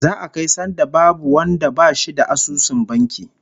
Za'a kai sanda babu wanda bashi da asusun banki